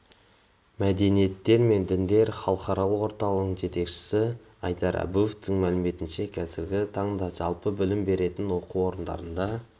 мәдениеттер мен діндер халықаралық орталығының жетекшісі айдар абуовтың мәліметінше қазіргі таңда жалпы білім беретін оқу орындарында